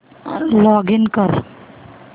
login कर